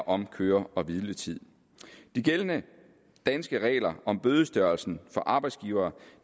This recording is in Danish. om køre hvile tid de gældende danske regler om bødestørrelsen for arbejdsgivere